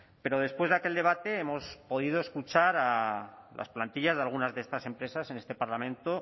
pero después de aquel debate hemos podido escuchar a las plantillas de algunas de estas empresas en este parlamento